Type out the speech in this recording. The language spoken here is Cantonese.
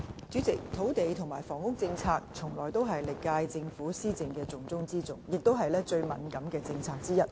主席，土地及房屋政策從來都是歷屆政府施政的"重中之重"，也是最敏感的政策之一。